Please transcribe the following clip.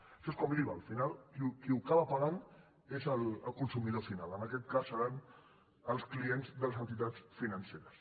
això és com l’iva al final qui l’acaba pagant és el consumidor final en aquest cas seran els clients de les entitats financeres